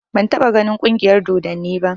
Ban taɓa ganin ƙungiyar dodanni ba